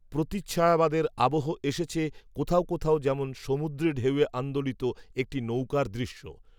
প্রতিচ্ছায়াবাদের আবহ এসেছে কোথাও কোথাও যেমন সমুদ্রেঢেউয়ে আন্দোলিত একটি নৌকার দৃশ্য